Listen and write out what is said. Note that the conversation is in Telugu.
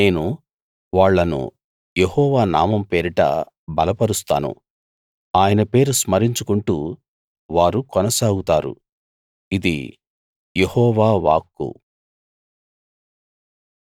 నేను వాళ్ళను యెహోవా నామం పేరిట బలపరుస్తాను ఆయన పేరు స్మరించుకుంటూ వారు కొనసాగుతారు ఇది యెహోవా వాక్కు